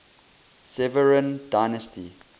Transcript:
severan dynasty